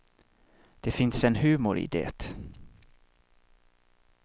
Det finns en humor i det.